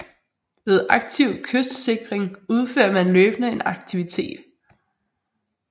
Ved aktiv kystsikring udfører man løbende en aktivitet